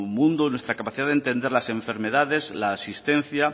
mundo nuestra capacidad de entender las enfermedades la asistencia